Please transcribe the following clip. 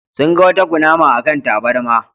Sun ga wata kunama a kan tabarma.